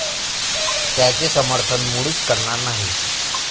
त्याचे समर्थन मुळीच करणार नाही.